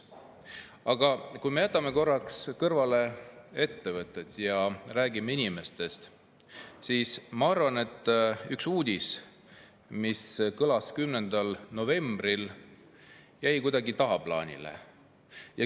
Aga kui me jätame korraks kõrvale ettevõtted ja räägime inimestest, siis ma arvan, et üks uudis, mis kõlas 10. novembril, jäi kuidagi tagaplaanile.